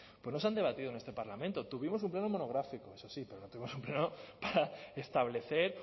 pues no se han debatido en este parlamento tuvimos un pleno monográfico eso sí pero tuvimos un pleno para establecer